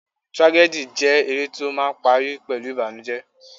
Tragedy jẹ́ eré tó máà ń parí pẹ̀lú ìbànújẹ.